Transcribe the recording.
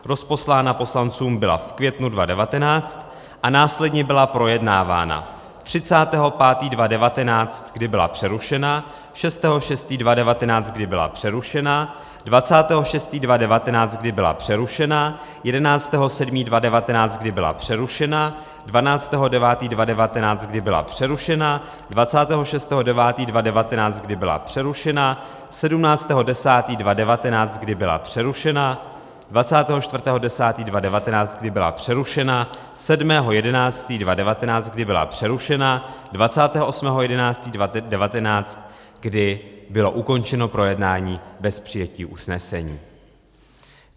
Rozposlána poslancům byla v květnu 2019 a následně byla projednávána 30. 5. 2019, kdy byla přerušena, 6. 6. 2019, kdy byla přerušena, 26. 6. 2019, kdy byla přerušena, 11. 7. 2019, kdy byla přerušena, 12. 9. 2019, kdy byla přerušena, 26. 9. 2019, kdy byla přerušena, 17. 10. 2019, kdy byla přerušena, 24. 10. 2019, kdy byla přerušena, 7. 11. 2019, kdy byla přerušena, 28. 11. 2019, kdy bylo ukončeno projednání bez přijetí usnesení.